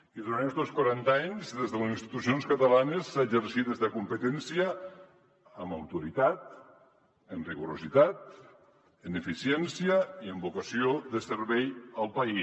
i durant estos quaranta anys des de les institucions catalanes s’ha exercit esta competència amb autoritat amb rigor amb eficiència i amb vocació de servei al país